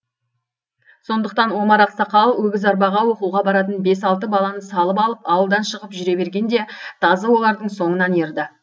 сондықтан омар ақсақал өгіз арбаға оқуға баратын бес алты баланы салып алып ауылдан шығып жүре бергенде тазы олардың соңынан ерді